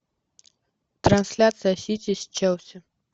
трансляция сити с челси